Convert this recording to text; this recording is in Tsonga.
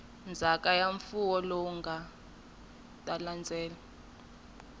ndzhaka ya mfuwo lowu nga